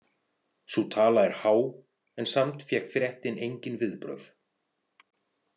Sú tala er há en samt fékk fréttin engin viðbrögð.